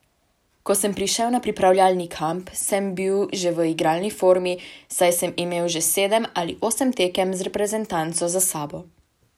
Ko sem prišel na pripravljalni kamp, sem bil že v igralni formi, saj sem imel že sedem ali osem tekem z reprezentanco za sabo.